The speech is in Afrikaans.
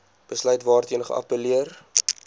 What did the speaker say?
besluit waarteen geappelleer